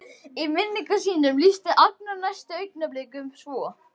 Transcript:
Í minningum sínum lýsti Agnar næstu augnablikum svo